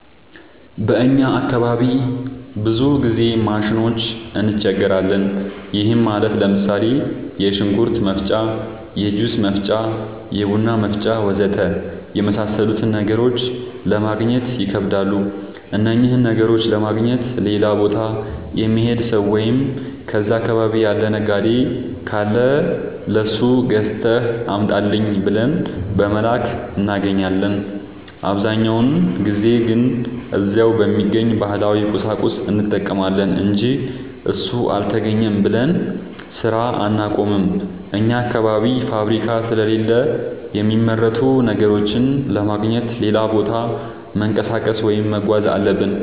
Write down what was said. በእኛ አካባቢ ብዙ ጊዜ ማሽኖች እንቸገራለን። ይህም ማለት ለምሳሌ፦ የሽንኩርት መፍጫ፣ የጁስ መፍጫ፣ የቡና መፍጫ.... ወዘተ የመሣሠሉትን ነገሮች ለማገግኘት ይከብዳሉ። እነኝህን ነገሮች ለማግኘት ሌላ ቦታ የሚሄድ ሠው ወይም እዛ አካባቢ ያለ ነጋዴ ካለ ለሱ ገዝተህ አምጣልኝ ብለን በመላክ እናገኛለን። አብዛኛውን ጊዜ ግን እዛው በሚገኝ ባህላዊ ቁሳቁስ እንጠቀማለን አንጂ እሱ አልተገኘም ብለን ስራ አናቆምም። አኛ አካባቢ ፋብሪካ ስለሌለ የሚመረቱ ነገሮችን ለማግኘት ሌላ ቦታ መንቀሳቀስ ወይም መጓዝ አለብን።